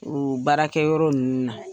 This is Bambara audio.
U baarakɛ yɔrɔ ninnu na.